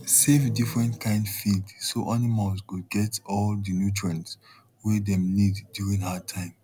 save different kind feed so animals go get all the nutrients way dem need during hard time